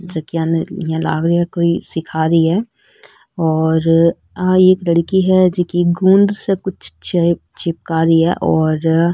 जकिया यहाँ लाग रिहा की कोई सिखा रही है और आ एक लड़की है जिकी गूंद से कुछ चिपका रही है और --